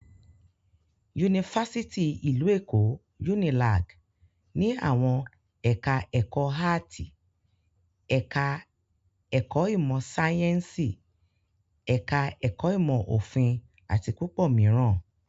Yunifásítì ìlú Èkó (Unilag)ní àwọn ẹ̀ka-ẹ̀kọ́ áátì, ẹ̀ka-ẹ̀kọ́ ìmọ̀-sáyẹ́ńsì, ẹ̀ka-ẹ̀kọ́ ìmọ̀-òfin àti púpọ̀ mìíràn.